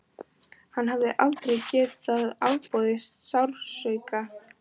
Hann hafði aldrei getað afborið sársauka.